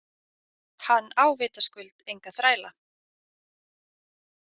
Hann á vitaskuld enga þræla.